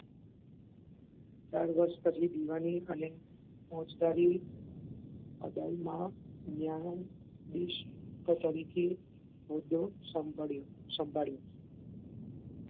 ચાર વર્ષ પછી દીવાની અને ફોજદારી અદાલતમાં ન્યાયાધીશ તરીકે હોદો સંભાળ્યો સંભાળ્યો